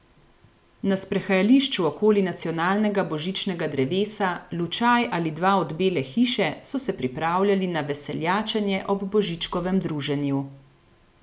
Na sprehajališču okoli nacionalnega božičnega drevesa, lučaj ali dva od Bele hiše, so se pripravljali na veseljačenje ob Božičkovem druženju.